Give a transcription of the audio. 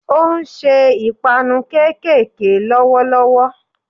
Ó n se 'ìpanu kékèké' lówó lówó